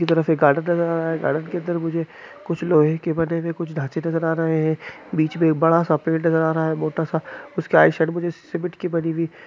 एक तरह से गार्डन नजर आरहा है ।कुछ लोहे के बने हुए ढांचे नजर आरहे है। बिच में एक बड़ा सा पेड़ नजर आरहा है। उसकी राइट साइड में सामिट की बनि हुई--